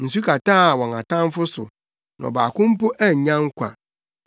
Nsu kataa wɔn atamfo so; na ɔbaako mpo annya nkwa.